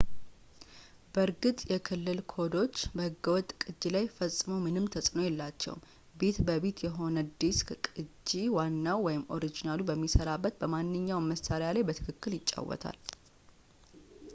በእርግጥ፣ የክልል ኮዶች በሕገ-ወጥ ቅጅ ላይ ፈጽሞ ምንም ተጽዕኖ የላቸውም፤ ቢት-በ-ቢት የሆነ የዲስክ ቅጂ ዋናው ኦሪጂናሉ በሚሠራበት በማንኛውም መሣሪያ ላይ በትክክል ይጫወታል